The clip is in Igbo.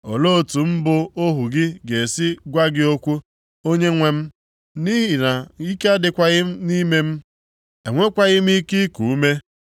Olee otu mụ bụ ohu gị ga-esi gwa gị okwu, Onyenwe m? Nʼihi na ike adịghịkwa nʼime m, enwekwaghị m ike iku ume.”